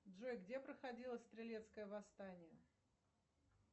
джой где проходило стрелецкое восстание